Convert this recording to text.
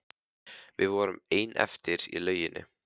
Við vorum ein eftir í lauginni.